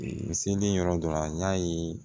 N selen yɔrɔ dɔ la n y'a ye